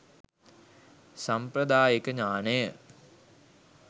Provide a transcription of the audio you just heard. සම්ප්‍රදායික ඥානය